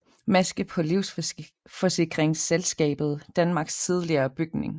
Maske på Livsforsikringsselskabet Danmarks tidligere bygning